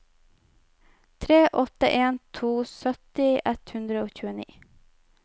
tre åtte en to sytti ett hundre og tjueni